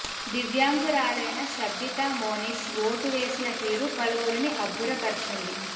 దివ్యాంగురాలైన Shabbita Monish vote వేసిన తీరు పలువురిని అబ్బుర పర్చింది